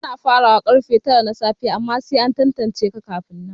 Ana farawa karfe tara na safe amma sai an tantance ka kafin nan